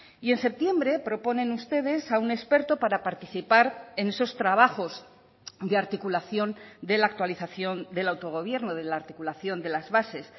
y en septiembre proponen ustedes a un experto para participar en esos trabajos de articulación de la actualización del autogobierno de la articulación de las bases